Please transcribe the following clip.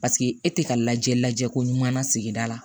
Paseke e tɛ ka lajɛ lajɛ ko ɲuman na sigida la